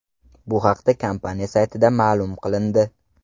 Bu haqda kompaniya saytida ma’lum qilindi.